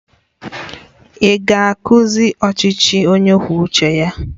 Ị ga-akuziri ọchịchị onye kwuo uche ya